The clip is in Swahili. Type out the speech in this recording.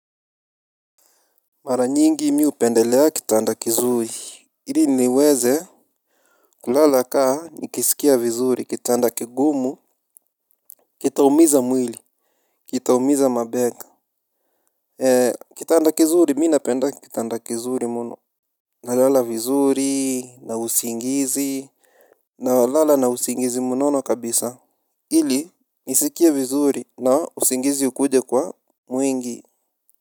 Mara nyingi mimi hupendelea kitanda kizuri ili niweze kulala kaa nikisikia vizuri kitanda kigumu. Kitaumiza mwili. Kitaumiza mabega. Eee kitanda kizuri mimi napenda kitanda kizuri mno. Nalala vizuri na usingizi. Nalala na usingizi mnono kabisa ili nisikie vizuri na usingizi ukuje kwa mwingi.